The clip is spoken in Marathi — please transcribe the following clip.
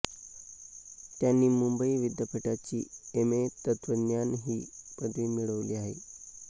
त्यांनी मुंबई विद्यापीठाची एम ए तत्त्वज्ञान ही पदवी मिळवली आहे